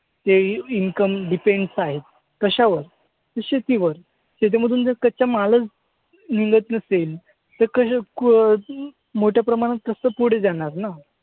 ते income depends आहेत. कशावर? तर शेतीवर. शेतीमधून जर कच्चा मालच निघत नसेल तर मोठ्या प्रमाणात कसं पुढे जाणार ना?